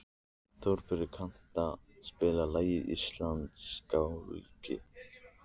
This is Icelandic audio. Þórbjarni, kanntu að spila lagið „Íslandsgálgi“?